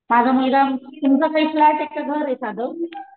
माझा मुलगा तुमचा काय फ्लॅट आहे का घर आहे साधं?